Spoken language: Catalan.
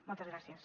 moltes gràcies